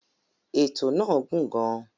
Ètò náà gùn gàn.